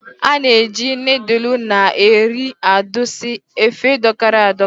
A na-eji nịịdụlụ na eri adusi efe dọkara a dọka.